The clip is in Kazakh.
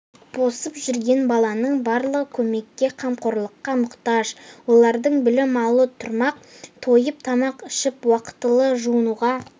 босып жүрген баланың барлығы көмекке қамқорлыққа мұқтаж олардың білім алу тұрмақ тойып тамақ ішіп уақытылы жуынуға